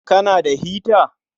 Kana da hita?